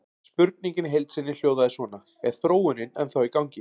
Spurningin í heild sinni hljóðaði svona: Er þróunin ennþá í gangi?